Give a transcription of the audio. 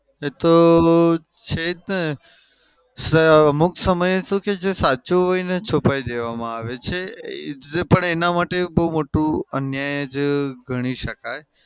એતો છે જ ને. અમુક સમય શું છે જે સાચું હોય એને છુપાઈ દેવામાં આવે છે પણ એના માટે બઉ મોટું અન્યાય જ ગણી શકાય.